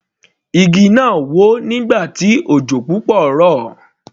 Igi náà wó nígbà tí òjò púpọ̀ rọ̀.